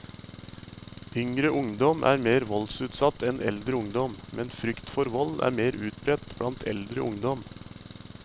Yngre ungdom er mer voldsutsatt enn eldre ungdom, men frykt for vold er mer utbredt blant eldre ungdom.